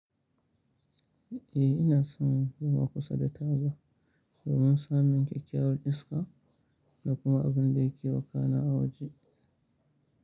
Eh ina son zuwa kusa da taga domin samun kyakkyawar iska da kuma abun da yake wakana a waje.